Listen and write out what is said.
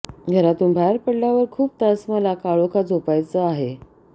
घरातून बाहेर पडल्यावर खूप तास मला काळोखात झोपायचं आहे